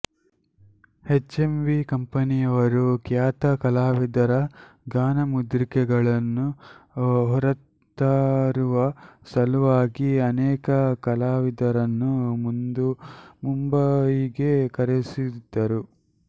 H M V ಕಂಪನಿಯವರು ಖ್ಯಾತ ಕಲಾವಿದರ ಗಾನಮುದ್ರಿಕೆಗಳನ್ನು ಹೊರತರುವ ಸಲುವಾಗಿ ಅನೇಕ ಕಲಾವಿದರನ್ನು ಮುಂಬಯಿಗೆ ಕರೆಸಿದ್ದರು